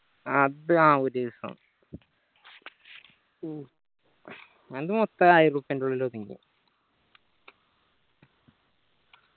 അത് ആ ഒരു ദിവസം ഉം ഞങ്ങൾക്ക് മൊത്തം ഉള്ളിൽ ഒതുങ്ങീന്